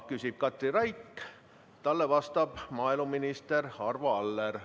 Küsib Katri Raik ja talle vastab maaeluminister Arvo Aller.